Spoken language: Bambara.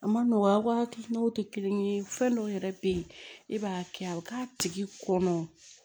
A ma nɔgɔ a ka hakilinaw tɛ kelen ye fɛn dɔw yɛrɛ bɛ yen e b'a kɛ a bɛ k'a tigi kɔnɔ